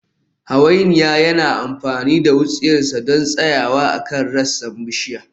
Hawainiya yana amfani da wutsiyarsa don tsayawa akan rassan bishiya